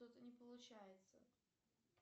что то не получается